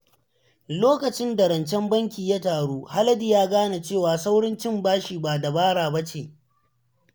Lokacin da rancen banki ya taru, Haladu ya gane cewa saurin cin bashi ba dabara ba ce.